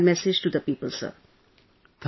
This is what my message to the people sir